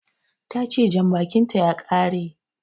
Tace Janbakin ta ya kare